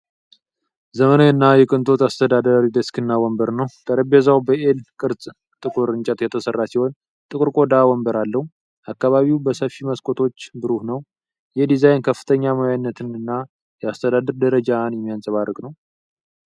ዘመናዊ እና የቅንጦት የአስተዳዳሪ ዴስክና ወንበር ነው። ጠረጴዛው በ'ኤል' ቅርጽ ከጥቁር እንጨት የተሠራ ሲሆን፣ ጥቁር የቆዳ ወንበር አለው። አካባቢው በሰፊ መስኮቶች ብሩህ ነው። ይህ ዲዛይን ከፍተኛ ሙያዊነትንና የአስተዳደር ደረጃን የሚያንጸባርቅ ነው።